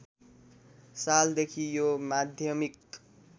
सालदेखि यो माध्यमिक